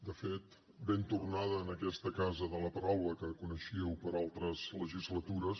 de fet ben tornada en aquesta casa de la paraula que coneixíeu per altres legislatures